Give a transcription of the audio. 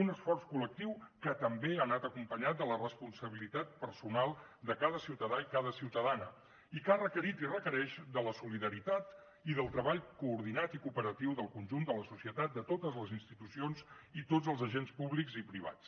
un esforç col·lectiu que també ha anat acompanyat de la responsabilitat personal de cada ciutadà i cada ciutadana i que ha requerit i requereix la solidaritat i el treball coordinat i cooperatiu del conjunt de la societat de totes les institucions i tots els agents públics i privats